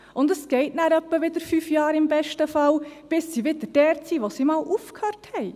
Dann geht es im besten Fall etwa wieder fünf Jahre, bis sie wieder dort sind, wo sie einmal aufgehört haben.